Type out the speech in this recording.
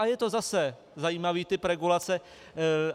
A je to zase zajímavý typ regulace.